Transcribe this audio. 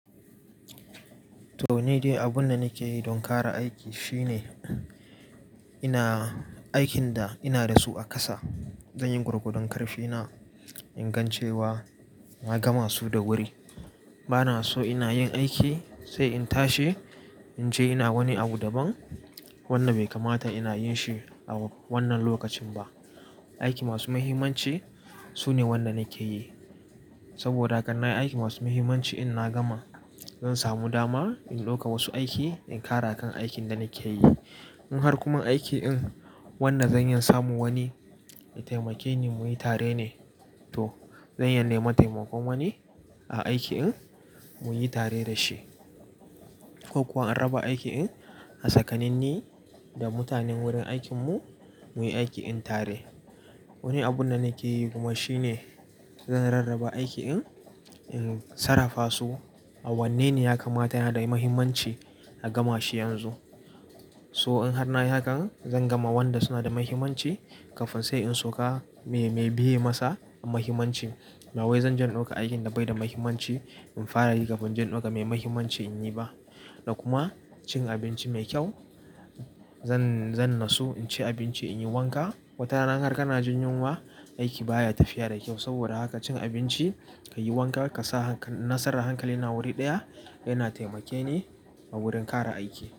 To, ni dai abun da nake yi don ƙara aiki shine ina-- aikin da ina da su a ƙasa, zan yi gwargwadon karfi na ingan cewa na gama su da wuri. Bana so ina yin aiki sai in tashi in je ina wani abu ban. Wannan bai kamata ina yin shi a wannan lokacin ba. Aiki masu muhimmanci sune wanda nake yi. Saboda haka in nayi aiki masu muhimmanci in na gama, zan samu dama in ɗauka wasu aiki in ƙara kan aikin da nake yi. In har kuma aiki in wannan zan iya samu wani ya taimake ni muyi tare ne, to zan iya nema taimakon wani a aiki in muyi tare da shi. Ko kuwa in raba aiki in a tsakanin ni da mutanen wurin aikin mu muyi aiki in tare. Wani abun da nake yi kuma shine zan rarraba aiki in, in sarrafa su a wanne ne ya kamata yana da muhimmanci a gama shi yanzu. So in har na yi hakan zan gama wanda suna da muhimmanci kafin sai in sauka me, me biye masa a muhimmanci. Bawai zanje in ɗauka aikin da baida muhimmanci in fara yi kafin inje ɗauka mai muhimmanci in yi ba. Da kuma cin abinci mai kyau zan, zan nasu in ci abinci in yi wanka. Wata rana harka kana jin yunwa, aiki baya tafiya da kyau. Saboda haka cin abinci ka yi wanka ka sa hankal-- nasarar hankali na wuri ɗaya yana taimake ni a wurin ƙara aiki.